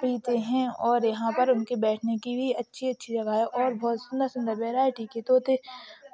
पीते है और यहां पर उनके बैठने की भी अच्छी अच्छी जगह है और बहुत सुंदर सुंदर वेराइटी के तोते